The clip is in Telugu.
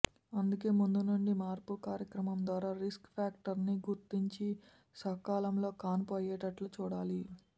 అందుకే ముందు నుండి మార్పు కార్యక్రమం ద్వారా రిస్క్ ఫ్యాక్టర్స్ని గుర్తించి సకాలంలో కాన్పు అయ్యేటట్లు చూడాలి